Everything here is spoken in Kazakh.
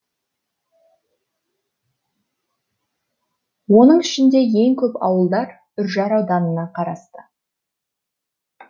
оның ішінде ең көп ауылдар үржар ауданына қарасты